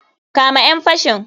Kama ƴan fashin.